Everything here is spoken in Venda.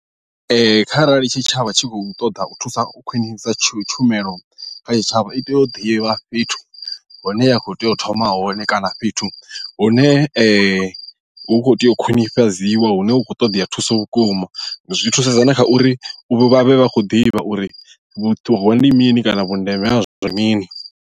Ee kharali tshitshavha tshi khou ṱoḓa u thusa u khwinisa tshumelo kha tshitshavha i tea u ḓivha fhethu hune ya khou tea u thoma hone kana fhethu hune hu kho tea u khwinifhadziwa hune hu khou ṱoḓea thuso vhukuma zwi thusedza na kha uri vha vhe vha khou ḓivha uri vhuṱuho ndi mini kana vhundeme ha zwezwo mini.